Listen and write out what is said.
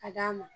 Ka d'a ma